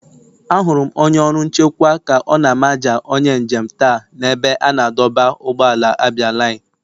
Ahụrụ m onye ọrụ nchekwa ka ọ na-amaja onye njem taa n'ebe a na-adọba ụgbọala abialine.